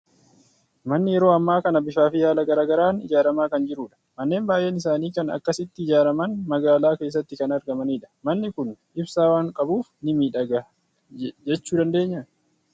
Manni yeroo ammaa kana bifaa fi haala garaa garaan ijaaramaa kan jirudha. Manneen baay'een isaanii kan akkasitti ijaaraman magaalaa keessatti kan argamanidha. Manni kun ibsaa waan qabuuf ni miidhagaa jechuu dandeenyaa?